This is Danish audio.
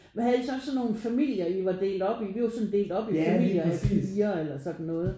Men havde I så også sådan nogen familier I var delt op i? Vi var sådan delt op i familier af fire eller sådan noget